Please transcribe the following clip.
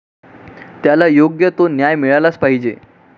त्याला योग्य तो न्याय मिळालाच पाहिजे.